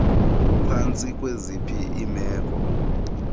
kuphantsi kwaziphi iimeko